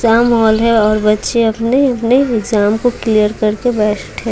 exam hall है और बच्चे अपने-अपने एग्जाम को क्लियर कर के बैठे --